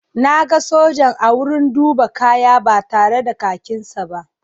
Na ga sojan a wurin duba kaya ba tare da kakinsa ba.